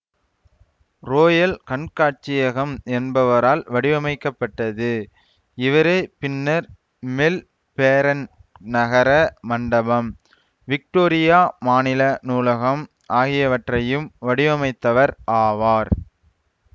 royal கண்காட்சியகம் என்பவரால் வடிவமைக்கப்பட்டது இவரே பின்னர் மெல்பேரண் நகர மண்டபம் விக்டோரியா மாநில நூலகம் ஆகியவற்றையும் வடிவமைத்தவர் ஆவார்